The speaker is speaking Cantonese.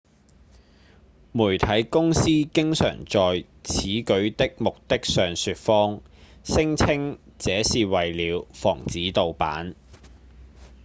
媒體公司經常的在此舉的目的上說謊聲稱這是為了「防止盜版」